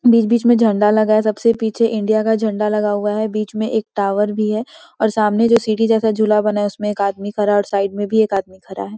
बीच-बीच में झंडा लगा है सबसे पीछे इंडिया का झंडा लगा हुआ है बीच में एक टावर भी है और सामने जो सीढ़ी जैसा झुला बना है उसमे एक आदमी खड़ा है और साइड में भी एक आदमी खड़ा है ।